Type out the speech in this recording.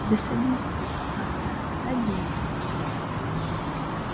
да садись ты хантер садись